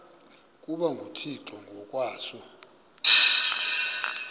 ukuba nguthixo ngokwaso